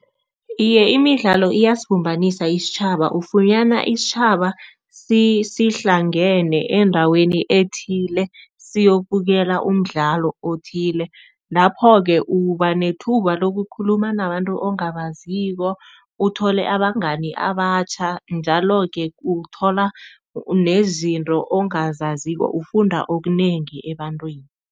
Iye, imidlalo iyasibumbanisa isitjhaba. Ufunyana isitjhaba sihlangene endaweni ethile siyokubukela umdlalo othile. Lapho-ke uba nethuba lokukhuluma nabantu ongabaziko, uthole abangani abatjha njalo-ke uthola nezinto ongazaziko, ufunda okunengi ebantwini.